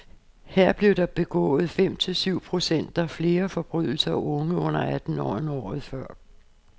Her blev der begået fem til syv procent flere forbrydelser af unge under atten år, end året før.